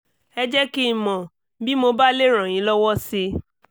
ẹ jẹ́ kí n mọ̀ bí mo bá lè ràn yín lọ́wọ́ sí i